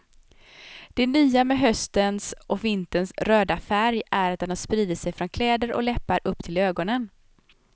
Det nya med höstens och vinterns röda färg är att den har spridit sig från kläder och läppar upp till ögonen.